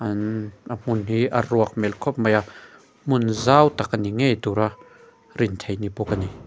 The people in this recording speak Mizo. an a hmun hi a ruak hmel khawp mai a hmun zau tak ani ngei tura rin theih ani bawk a ni.